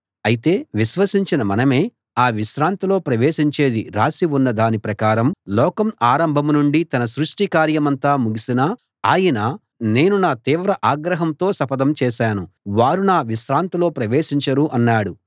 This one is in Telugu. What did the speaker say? అయితే విశ్వసించిన మనమే ఆ విశ్రాంతిలో ప్రవేశించేది రాసి ఉన్న దాని ప్రకారం లోకం ఆరంభం నుండి తన సృష్టి కార్యమంతా ముగిసినా ఆయన నేను నా తీవ్ర ఆగ్రహంతో శపథం చేశాను వారు నా విశ్రాంతిలో ప్రవేశించరు అన్నాడు